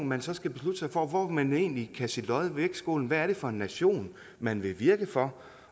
man skal beslutte sig for hvor man egentlig vil kaste sit lod i vægtskålen hvad det er for en nation man vil virke for